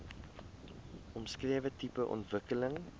omskrewe tipe ontwikkeling